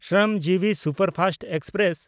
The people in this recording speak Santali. Shramjeevi superfast express